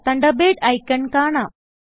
Thunderbird icon കാണാം